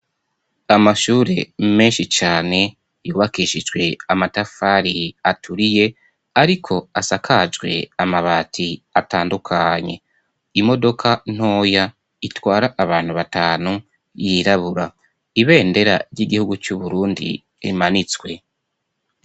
Amashure menshi cane yubakishijwe amatafari aturiye ariko asakajwe amabati atandukanye. Imodoka ntoya itwara abantu batanu yirabura. Ibendera ry'igihugu c'Uburundi rimanitswe.